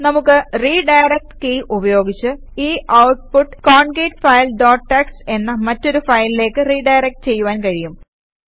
നമുക്ക് redirect key ഉപയോഗിച്ച് ഈ ഔട്ട്പുട്ട് കോൺകേറ്റ്ഫിലെ ഡോട്ട് ടിഎക്സ്ടി എന്ന മറ്റൊരു ഫയലിലേക്ക് റിഡയറക്ട് ചെയ്യുവാൻ കഴിയും